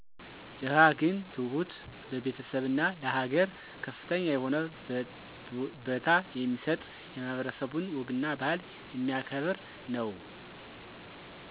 ደሀ ግን ትሁት፣ ለቤተሰብና ለሀገር ከፍተኛ የሆነ በታ የሚሰጥ። የማህበረሰቡን ወግና ባህል የሚያከብር ነው።